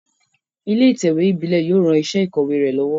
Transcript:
Ilé ìtẹ̀wé ìbílé yio ran isé ìkòwé re lówó